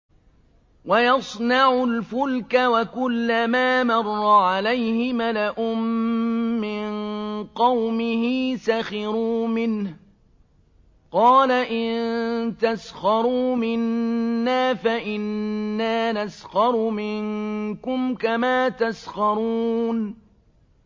وَيَصْنَعُ الْفُلْكَ وَكُلَّمَا مَرَّ عَلَيْهِ مَلَأٌ مِّن قَوْمِهِ سَخِرُوا مِنْهُ ۚ قَالَ إِن تَسْخَرُوا مِنَّا فَإِنَّا نَسْخَرُ مِنكُمْ كَمَا تَسْخَرُونَ